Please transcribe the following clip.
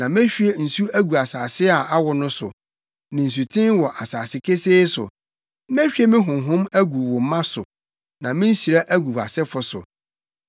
Na mehwie nsu agu asase a awo no so, ne nsuten wɔ asase kesee so; mehwie me Honhom agu wo mma so, ne me nhyira agu wʼasefo so.